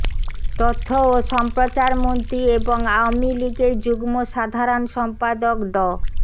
তথ্য ও সম্প্রচারমন্ত্রী এবং আওয়ামী লীগের যুগ্ম সাধারণ সম্পাদক ড